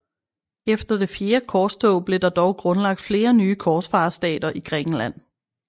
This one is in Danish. Efter det fjerde korstog blev der dog grundlagt flere nye korsfarerstater i Grækenland